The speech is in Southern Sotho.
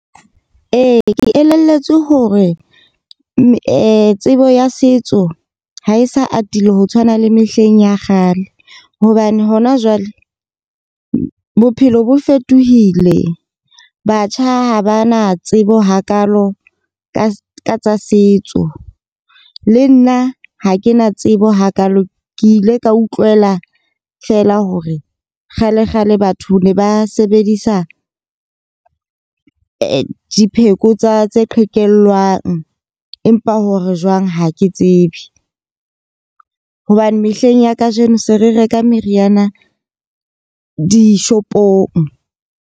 Ee, ke elelletswe hore tsebo ya setso ha e sa atile ho tshwana le mehleng ya kgale. Hobane hona jwale bophelo bo fetohile. Batjha ha ba na tsebo hakaalo ka tsa setso. Le nna ha ke na tsebo hakaalo. Ke ile ka utlwela feela hore kgale kgale batho ne ba sebedisa dipheko tsa tse qhekellwang. Empa hore jwang ha ke tsebe hobane mehleng ya kajeno se re reka meriana di-shop-ong.